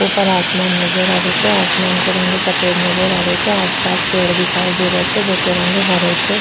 ऊपर आसमान नजर आ रेहो छे आसमान को रंग सफेद नजर आ रेहो छे आस पास पेड़ दिखाई दे रा छे जेको रंग हरो छे।